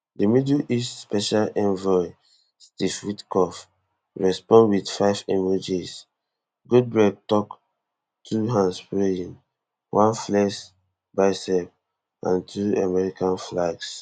di middle east special envoy steve witkoff respond wit five emojis goldberg tok two handspraying one flexed bicep and two american flags